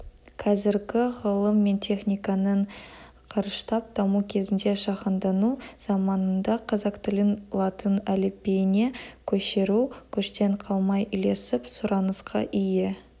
қазіргі ғылым мен техниканың қарыштап даму кезінде жаһандану заманында қазақ тілін латын әліпбиіне көшіру көштен қалмай ілесіп сұранысқа ие